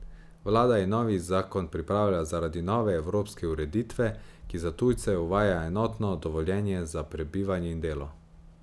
Vlada je novi zakon pripravila zaradi nove evropske ureditve, ki za tujce uvaja enotno dovoljenje za prebivanje in delo.